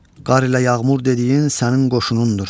Qar ilə yağmur dediyin sənin qoşunundur.